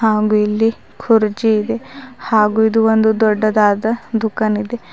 ಹಾಗು ಇಲ್ಲಿ ಕುರ್ಚಿ ಇದೆ ಹಾಗು ಇದು ಒಂದು ದೊಡ್ಡದಾದ ದುಖಾನಿದೆ.